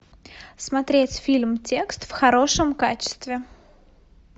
смотреть фильм текст в хорошем качестве